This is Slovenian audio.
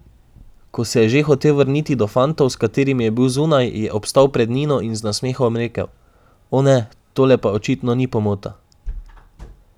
Ko se je že hotel vrniti do fantov, s katerimi je bil zunaj, je obstal pred Nino in z nasmehom rekel: "O ne, tole pa očitno ni pomota ...